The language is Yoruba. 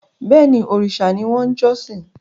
Bẹ́ẹ̀ni, òrìṣà ni wọ́n ń jọ́sìn